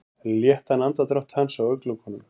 Léttan andardrátt hans á augnalokunum.